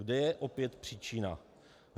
Kde je opět příčina?